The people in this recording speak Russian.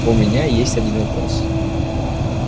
у меня есть один вопрос